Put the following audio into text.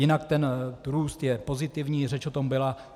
Jinak ten růst je pozitivní, řeč o tom byla.